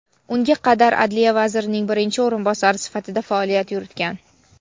unga qadar Adliya vazirining birinchi o‘rinbosari sifatida faoliyat yuritgan.